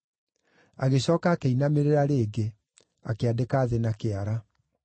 Agĩcooka akĩinamĩrĩra rĩngĩ, akĩandĩka thĩ na kĩara.